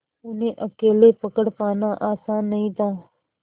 उन्हें अकेले पकड़ पाना आसान नहीं था